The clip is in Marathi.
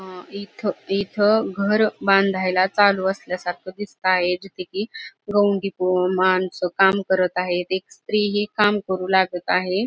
अं इथं इथं घर बांधायला चालू असल्यासारखं दिसतंय. जेथे की गवंडी माणसं काम करत आहेत. एक स्त्री ही काम करू लागत आहे.